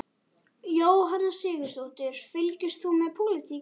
Jóhanna Sigurðardóttir: Fylgist þú með pólitík?